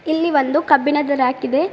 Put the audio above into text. ಇಲ್ಲಿ ಒಂದು ಕಬ್ಬಿಣದ ರಾಕ್ ಇದೆ.